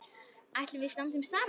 Ætlum við að standa saman?